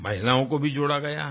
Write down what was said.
महिलाओं को भी जोड़ा गया है